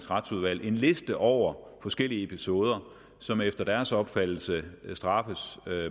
retsudvalget en liste over forskellige episoder som efter deres opfattelse straffes